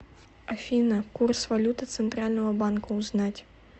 афина курс валюты центрального банка узнать